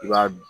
I b'a